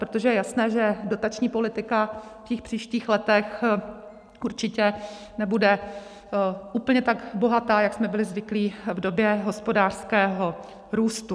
Protože je jasné, že dotační politika v těch příštích letech určitě nebude úplně tak bohatá, jak jsme byli zvyklí v době hospodářského růstu.